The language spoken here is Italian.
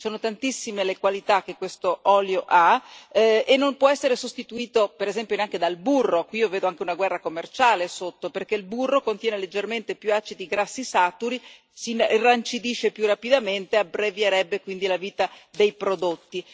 Sono tantissime le qualità che questo olio ha, e non può essere sostituito, per esempio, neanche dal burro e qui sotto io ci vedo anche una guerra commerciale perché il burro contiene leggermente più acidi grassi saturi, si irrancidisce più rapidamente e abbrevierebbe quindi la vita dei prodotti.